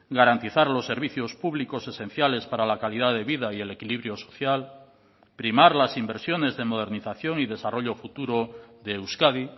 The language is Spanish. garantizar los servicios públicos esenciales para la calidad de vida y el equilibrio social primar las inversiones de modernización y desarrollo futuro de euskadi